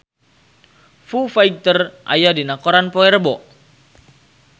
Foo Fighter aya dina koran poe Rebo